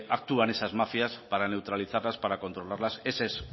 actúan esas mafias para neutralizarlas para controlarlas esa es